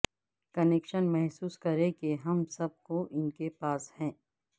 connection محسوس کریں کہ ہم سب کو ان کے پاس ہے